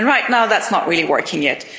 Right now, that's not really working yet.